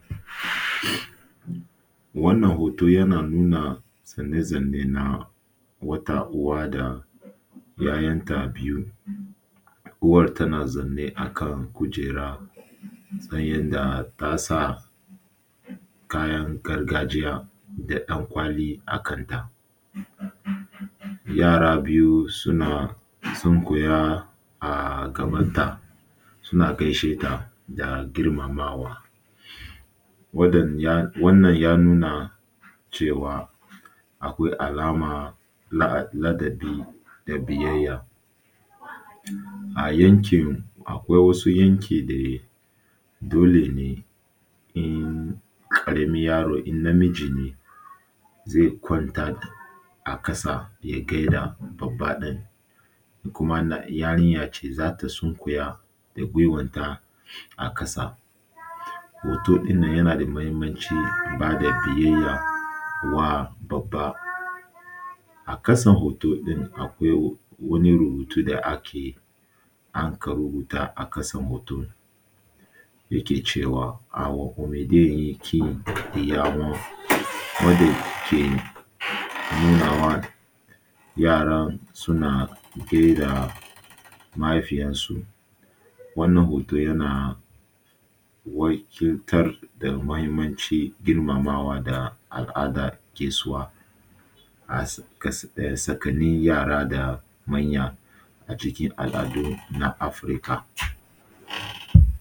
Wannan hoto yana zanne-zanne na wata uwa da ‘ya’yanta biyu, uwan tana zanne akan kujera sanye da tasa kayan gargajiya da ɗan-ƙwali a kanta, yara biyu suna sunkuya a gabanta suna gaisheta da girmamawa. Wannan ya nuna cewa akwai alama na ladabi da biyayya. A yankin, akwai wasu yanki dai dole ne in ƙaramin yaro in namiji ne zai kwanta a ƙasa ya gaida babba ɗin, in kuma yarinya ce za ta sunkuya da gwiwanta a ƙasa. Hoto ɗinnan yana da mahimmanci ba da biyayya wa babba. A ƙasan hoto ɗin akwai wani rubutu da ake anka rubuta a ƙasan hoton yake cewa awo omide yekin inyawo wanda ke nunawa yaran suna gaida mahaifiyarsu. Wannan hoto yana wakiltar da mahimmancin girmamawa ga al’adan gaisuwa a tsakanin yara da manya acikin al’adu na Afirka.